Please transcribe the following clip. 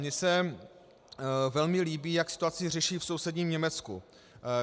Mně se velmi líbí, jak situaci řeší v sousedním Německu.